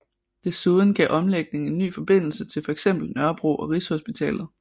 Desuden gav omlægningen en ny forbindelse til for eksempel Nørrebro og Rigshospitalet